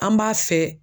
An b'a fɛ